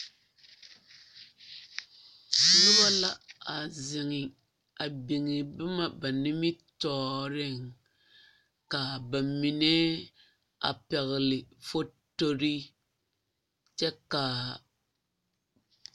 Noba la a zeŋe a biŋ boma ba nimitɔɔreŋ ka ba mine a pɛgle fotori kyɛ ka a.